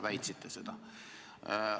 Väitsite seda siseministrina.